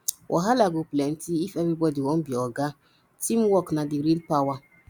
wahala go plenty if everybody wan be oga teamwork na the real power